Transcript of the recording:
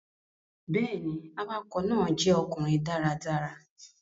Bẹ́ẹ̀ ni, awakọ̀ náà jẹ́ ọkùnrin dáradára.